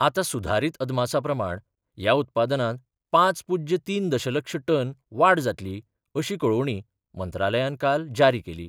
आतां सुधारित अदमासा प्रमाण ह्या उत्पादनांत पांच पुज्य तीन दशलक्ष टन वाड जातली अशी कळोवणी मंत्रालयान काल जारी केली.